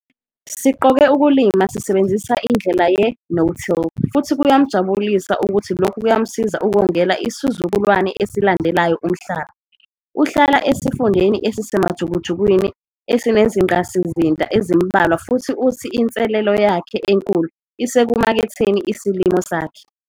Siqoke ukulima sisebenzisa indlela ye-no-till futhi kuyamjabulisa ukuthi lokhu kuyamsiza ukongela isizukulwane esilandelayo umhlaba. Uhlala esifundeni esisemajukujukwini esinezingqasizinda ezimbalwa futhi uthi inselelo yakhe enkulu isekumaketheni isilimo sakhe.